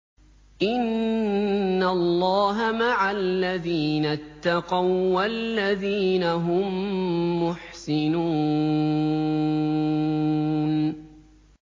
إِنَّ اللَّهَ مَعَ الَّذِينَ اتَّقَوا وَّالَّذِينَ هُم مُّحْسِنُونَ